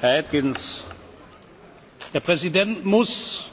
Herr Atkins! Der Präsident muss,